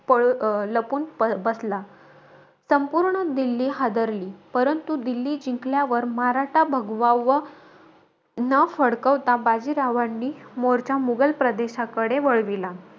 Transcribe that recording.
पळ अं लपून अं बसला. संपूर्ण दिल्ली हादरली. परंतु, दिल्ली जिंकल्यावर, मराठा भगवा व न फडकवता, बाजीरावांनी मोर्चा मुघल प्रदेशाकडे वळवला.